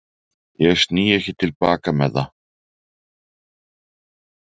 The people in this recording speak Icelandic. Ég sný ekki til baka með það.